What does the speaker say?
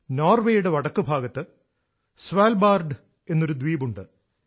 നോർവേയുടെ വടക്ക് ഭാഗത്ത് Svalbard Svalbard എന്നൊരു ദ്വീപുണ്ട്